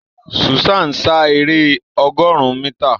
Susan sá èrè ọgọrùn mítà.